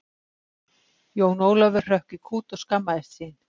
Jón Ólafur hrökk í kút og skammaðist sín.